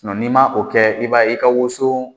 n'i ma o kɛ, i b'a ye i ka woso